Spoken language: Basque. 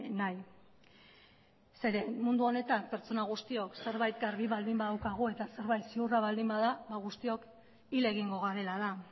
nahi zeren mundu honetan pertsona guztiok zerbait garbi baldin badaukagu eta zerbait ziurra baldin bada guztiok hil egingo garela da